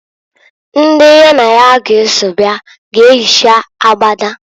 Ndi ya na ya g'eso bịa g'eyicha agbada.